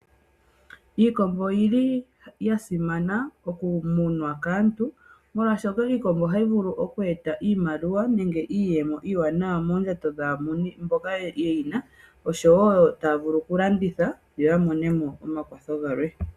Iikombo oyili ya simana oku munwa kaantu, molwaashoka iikombo ohayi vulu oku eta iimaliwa nenge iiyemo iiwanawa moondjato dhaamuni mboka ye yina, oshowo taya vulu oku landitha yo ya mone omakwatho galwe.